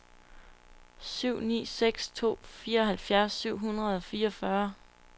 syv ni seks to fireoghalvtreds syv hundrede og fireogfyrre